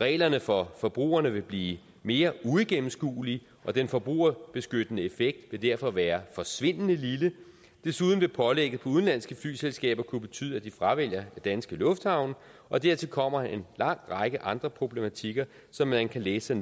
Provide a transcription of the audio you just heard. reglerne for forbrugerne vil blive mere uigennemskuelige og den forbrugerbeskyttende effekt vil derfor være forsvindende lille desuden vil pålægget for udenlandske flyselskaber kunne betyde at de fravælger danske lufthavne og dertil kommer en lang række andre problematikker som man kan læse